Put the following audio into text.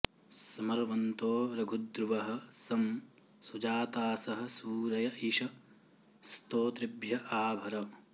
समर्व॑न्तो रघु॒द्रुवः॒ सं सु॑जा॒तासः॑ सू॒रय॒ इषं॑ स्तो॒तृभ्य॒ आ भ॑र